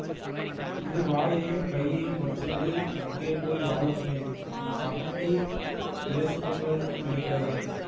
இது வாயையும் கையையும் வச்சிண்டு அங்கே போய் வாழணுமே உன் சம்பந்தி இலேசுப்பட்டவள்னு நெனக்காத